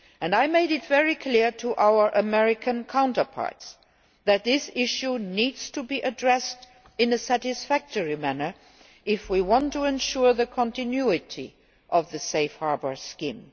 I made it very clear to our American counterparts that this issue needs to be addressed in a satisfactory manner if we want to ensure the continuity of the Safe Harbour scheme.